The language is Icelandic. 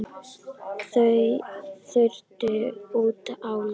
Þau fluttu út á land.